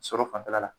Sɔrɔ fanfɛla la